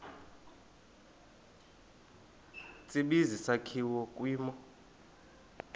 tsibizi sakhiwa kwimo